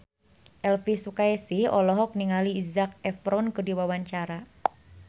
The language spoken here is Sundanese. Elvi Sukaesih olohok ningali Zac Efron keur diwawancara